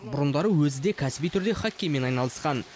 бұрындары өзі де кәсіби түрде хоккеймен айналысқан